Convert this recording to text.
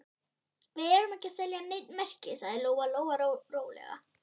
Við erum ekki að selja nein merki, sagði Lóa Lóa rólega.